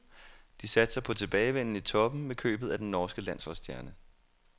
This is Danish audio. De satser på tilbagevenden i toppen med købet af den norske landsholdsstjerne.